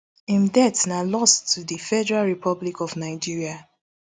im death na loss to di federal republic of nigeria